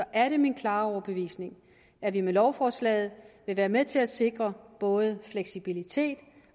er det min klare overbevisning at vi med lovforslaget vil være med til at sikre både fleksibilitet